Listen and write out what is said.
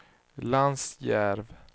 Lansjärv